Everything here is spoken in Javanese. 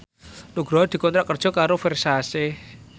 Nugroho dikontrak kerja karo Versace